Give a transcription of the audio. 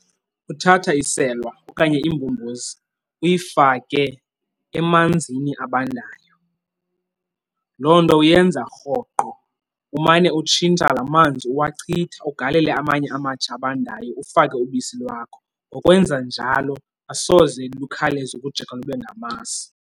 Uthatha iselwa okanye imbombozi uyifake emanzini abandayo. Loo nto uyenza rhoqo umane utshintsha lamanzi uwachitha ugalele amanye amatsha abandayo, ufake ubisi lwakho. Ngokwenza njalo asoze lukhawuleze ukujika lube ngamasi.